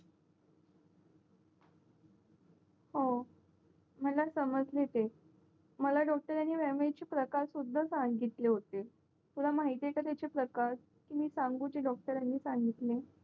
हो मला समजला ते मला डॉक्टरांनी व्यायामाचे प्रकार सुद्धा सांगितले होते तुला महितीआहेत का त्याचे प्रकार मी ते डॉक्टरांनी सांगितले